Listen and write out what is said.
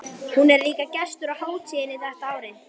Hún er líka gestur á hátíðinni þetta árið.